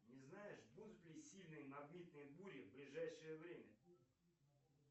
не знаешь будут ли сильные магнитные бури в ближайшее время